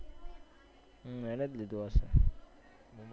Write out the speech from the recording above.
હમ એને જ લીધો હસે